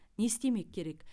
не істемек керек